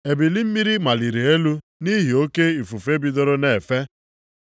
Ebili mmiri maliri elu nʼihi nʼoke ifufe bidoro na-efe.